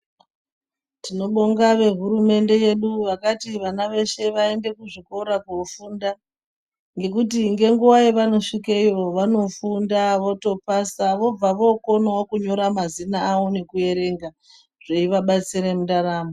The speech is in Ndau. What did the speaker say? Tinobonga vehurumende yedu vakati vana veshe vaende kuzvikora kofunda, ngekuti ngenguwa yavanosvikeyo, vanofunda, votopasa, vobva vokonawo kunyora mazina avo nekuerenga zveivabatsira mundaramo.